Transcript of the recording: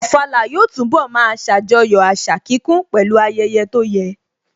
Ofala yóò túnbọ̀ máa ṣàjọyọ̀ àṣà kíkún pẹ̀lú ayẹyẹ tó yẹ